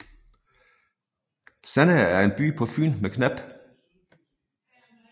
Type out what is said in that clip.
Sandager er en by på Fyn med knap